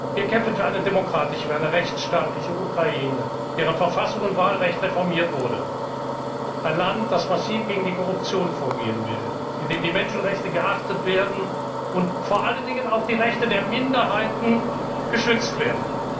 werden können. Wir kämpfen für eine demokratische, für eine rechtsstaatliche Ukraine, deren Verfassung und Wahlrecht reformiert wurden, ein Land, das massiv gegen die Korruption vorgehen will, in dem die Menschenrechte geachtet und vor allen Dingen auch die Rechte der Minderheiten geschützt